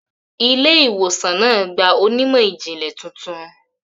Ilé-ìwòsàn náà gba onímọ̀-ìjìnlẹ̀ tuntun.